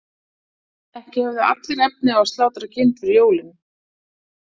Ekki höfðu allir efni á að slátra kind fyrir jólin.